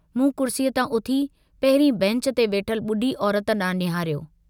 मूं कुर्सीअ तां उथी पहिरीं बैंच ते वेठल बुढी औरत डांहुं निहारियो।